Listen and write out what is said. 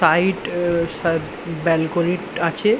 Side এ স balcony টি আছে।